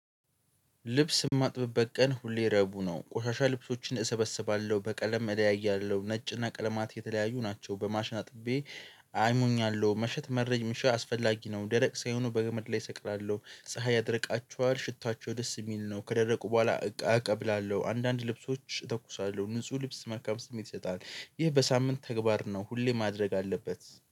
ልብስ የማጥበበት ቀን ሁሌ ረዕቡ ነው ቆሻሻ ልብሶችን እሰበስባለሁ በቀለም እለያያለሁ ነጭና ቀለማት የተለያዩ ናቸው በማሽን አጥቤ። አይሞኛለሁ መሸት መረጅ ምሽት አስፈላጊ ነው። ደረቅ ሳይሆኑ በገመድ ላይ እሰቅላለሁ። ፀሀይ ያደርቃችኋል ሽታቸው ደስ የሚል ነው። ከደረቁ በኋላ እቀብላለሁ። አንዳንድ ልብሶች እተኩሳለሁ ንጹህ ልብስ መካም ስሜት ይሰጣል። ይህ በሳምንት ተግባር ነው ሁሌ ማድረግ አለበት